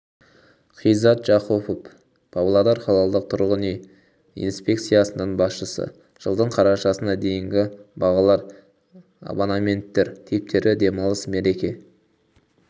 қизат жақұпов павлодар қалалық тұрғын үй инспекциясының басшысы жылдың қарашасына дейінгі бағалар абонементтер типтері демалыс мереке